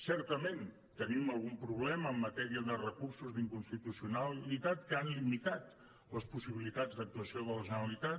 certament tenim algun problema en matèria de recursos d’inconstitucionalitat que han limitat les possibilitats d’actuació de la generalitat